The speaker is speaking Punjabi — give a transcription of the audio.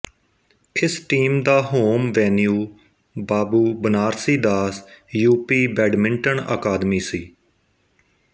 ਇਸ ਟੀਮ ਦਾ home venue Babu Banarasi Das U P badminton academy ਸੀ